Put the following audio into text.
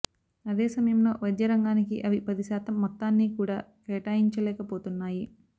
అదే సమయంలో వైద్య రంగానికి అవి పది శాతం మొత్తాన్ని కూడా కేటాయించలేకపోతున్నాయి